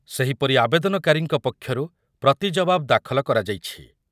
ସେହିପରି ଆବେଦନକାରୀଙ୍କ ପକ୍ଷରୁ ପ୍ରତି ଜବାବ ଦାଖଲ କରାଯାଇଛି।